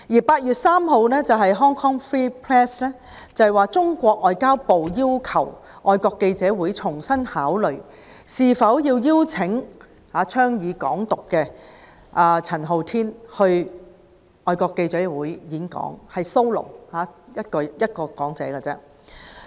8月3日 ，Hong Kong Free Press 報道，中國外交部要求香港外國記者會重新考慮是否邀請倡議"港獨"的陳浩天到外國記者會單獨演講。